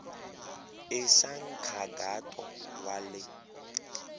i xa nkhaqato wa le